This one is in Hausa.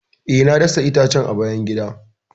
E, na dasa itacen a bayan gida.